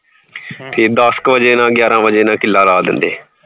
ਦੱਸ ਕ ਵਜੇ ਨਾਲ ਗਿਆਰਾਂ ਵਜੇ ਨਾਲ ਕਿੱਲਾ ਲਾ ਦੇਂਦੇ ਏ